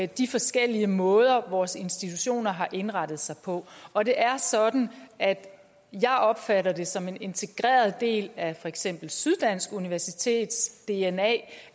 de forskellige måder vores institutioner har indrettet sig på og det er sådan at jeg opfatter det som en integreret del af for eksempel syddansk universitets dna